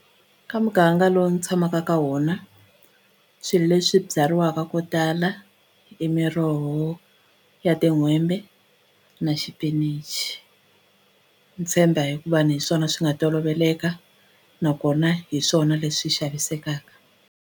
Ka muganga lowu ni tshamaka ka wona swilo leswi byariwaka ko tala i miroho ya tin'hwembe na xipinichi ni tshemba hi ku va ni hi swona swi nga toloveleka nakona hi swona leswi xavisekaka.